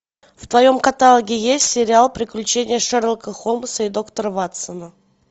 в твоем каталоге есть сериал приключения шерлока холмса и доктора ватсона